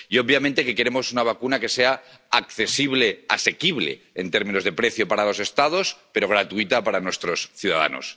y, obviamente, que queremos una vacuna que sea asequible en términos de precio para los Estados pero gratuita para nuestros ciudadanos.